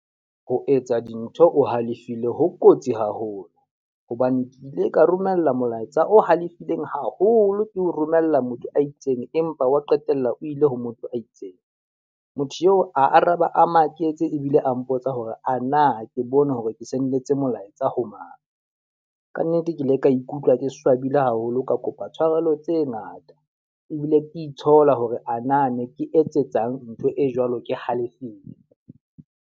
Ho etsa dintho o halefile ho kotsi haholo. Hobane ke ile ka romella molaetsa o halefileng haholo ke ho romella motho a itseng, empa wa qetella o ile ho motho a itseng. Motho eo a araba a maketse ebile a mpotsa hore ana ke bone hore ke sendetse molaetsa ho mang. Ka nnete ke ile ka ikutlwa ke swabile haholo. Ka kopa tshwarelo tse ngata ebile ke itshola hore ana ne ke etsetsang ntho e jwalo ke halefile.